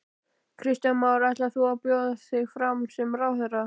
Kristján Már: Ætlar þú að bjóða þig fram sem ráðherra?